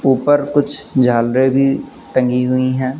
ऊपर कुछ झालरे भी टंगी हुई हैं।